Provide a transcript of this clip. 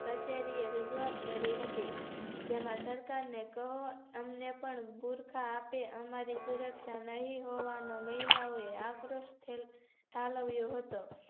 કચેરીએ રજુઆત કરી હતી જેમાં સરકારને કહો અમને પણ ગુરખા આપે અમારી સુરક્ષા નહિ નહોવાનો મહિલાઓયે આગરષ્ઠ પાલવ્યો હતો